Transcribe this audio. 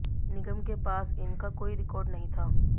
निगम के पास इनका कोई रिकार्ड नहीं था